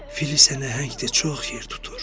Fil isə nəhəngdir, çox yer tutur.